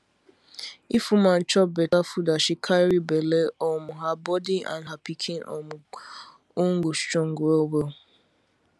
if woman chop beta food as she carry belle um her body and her pikin um own go strong well well